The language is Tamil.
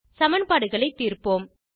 சமன்பாடுகளை தீர்ப்போம்